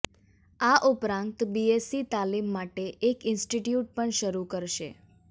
આ ઉપરાંત બીએસઇ તાલીમ માટે એક ઇન્સ્ટીટયુટ પણ શરૂ કરશે